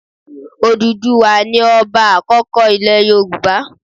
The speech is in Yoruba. Òdùduwà ni ọba àkọ́kọ́ ilẹ̀ Yorùbá.